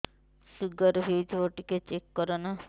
sugar ହେଇଥିବ ଟିକେ check କର ନା